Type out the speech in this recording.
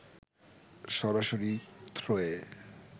সরাসরি থ্রোয়ে